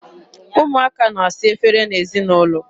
Ụmụaka na-asa efere n'ezinaụlọ.